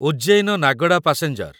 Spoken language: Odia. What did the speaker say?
ଉଜ୍ଜୈନ ନାଗଡା ପାସେଞ୍ଜର